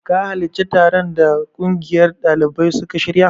Ka halarci taron da ƙungiyar ɗalibai suka shirya?